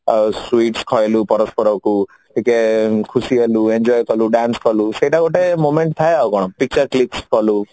ଆଉ sweets ଖୁଆଇଲୁ ପରସ୍ପରକୁ ଟିକେ ଖୁସି କଲୁ enjoy କଲୁ dance କଲୁ ସେଇଟା ଗୋଟେ moment ଥାଏ ଆଉ କଣ picture clicks କଲୁ